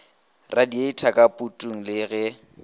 radieitha ka putung le ge